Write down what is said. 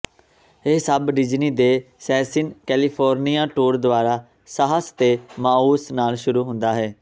ਇਹ ਸਭ ਡਿਜ਼ਨੀ ਦੇ ਸੈਸਿਨਿ ਕੈਲੀਫੋਰਨੀਆ ਟੂਰ ਦੁਆਰਾ ਸਾਹਸ ਤੇ ਮਾਊਸ ਨਾਲ ਸ਼ੁਰੂ ਹੁੰਦਾ ਹੈ